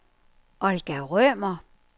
Olga Rømer